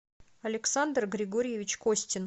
александр григорьевич костин